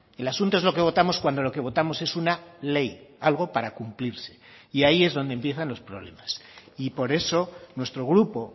el asunto es lo que votamos cuando lo que votamos es una ley algo para cumplirse y ahí es donde empiezan los problemas y por eso nuestro grupo